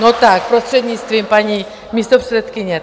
No tak, prostřednictvím paní místopředsedkyně.